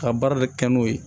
Ka baara de kɛ n'o ye